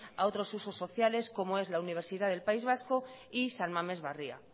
a otros usos sociales como es la universidad del país vasco y san mames barria